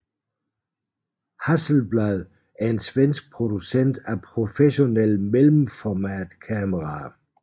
Hasselblad er en svensk producent af professionelle mellemformatkameraer